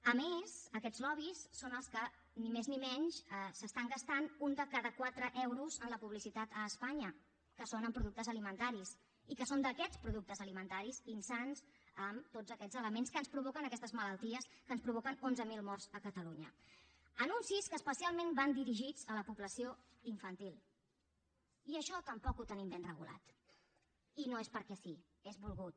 a més aquests lobbys són els que ni més ni menys s’estan gastant un de cada quatre euros en la publicitat a espanya que són en productes alimentaris i que són d’aquestes productes alimentaris insans amb tots aquests elements que ens provoquen aquestes malalties que ens provoquen onze mil morts a catalunya anuncis que especialment van dirigits a la població infantil i això tampoc ho tenim ben regulat i no és perquè sí és volgut